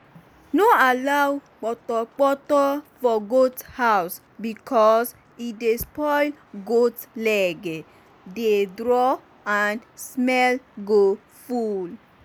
no allow portoporto for goat house because e dey spoil goat lege dey draw and smell go full